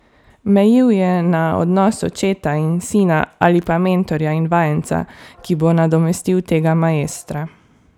Mejil je na odnos očeta in sina, ali pa mentorja in vajenca, ki bo nadomestil tega maestra.